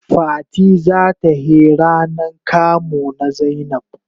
Fati za ta he ranan kamu na zainab.